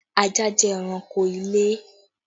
Ajá jẹ́ ẹranko ilé